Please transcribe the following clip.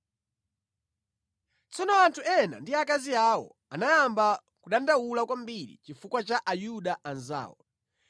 Tsono anthu ena ndi akazi awo anayamba kudandaula kwambiri chifukwa cha Ayuda anzawo.